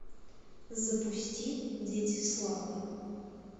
запусти дети славы